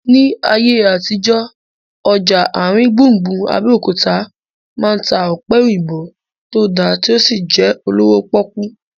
Ní ayé àtijọ́, ọjà àrin gbùngbùn Abẹ́òkúta máa ń ta ọ̀pẹ̀ òyìnbó tó dá tí ó sì jẹ́ olówó pọ́kú